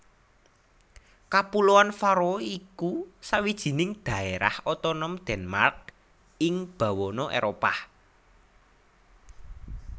Kapuloan Faroe iku sawijining daérah otonom Denmark ing bawana Éropah